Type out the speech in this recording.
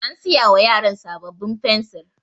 An siya wa yaran sabbabin fensir.